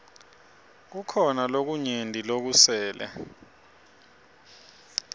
kukhona lokunyenti lokusele